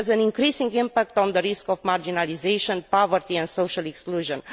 It has an increasing impact on the risk of marginalisation, poverty and social exclusion.